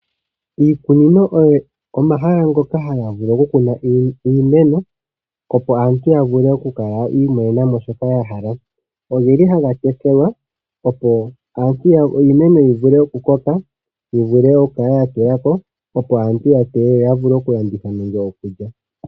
Iikunino oyo omahala ngoka haga vulu kunwa iimeno opo aantu ya vule okukala ya imonenamo shoka ya hala. Ogeli haga tekelwa opo iimeno yivule oku koka yi vulwe oku kala ya tewako opo aantu ya teye yo ya vule oku landitha nenge okulya.